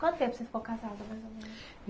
Quanto tempo você ficou casada, mais ou menos?